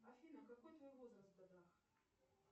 афина какой твой возраст в годах